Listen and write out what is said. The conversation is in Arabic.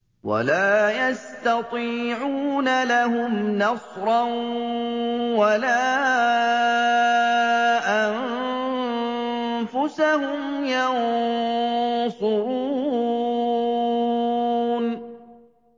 وَلَا يَسْتَطِيعُونَ لَهُمْ نَصْرًا وَلَا أَنفُسَهُمْ يَنصُرُونَ